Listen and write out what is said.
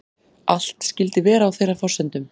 Allt skyldi vera á þeirra forsendum